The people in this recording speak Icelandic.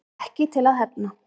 Ekki til að hefna